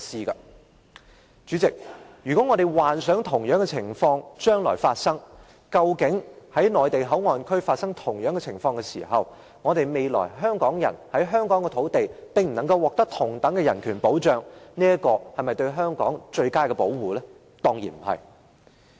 代理主席，我們幻想一下，如果將來在內地口岸區發生同樣的情況時，香港人在香港的土地上不能獲得同等的人權保障，這是否對香港最佳的保護？